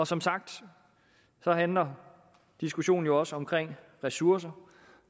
som sagt handler diskussionen jo også om ressourcer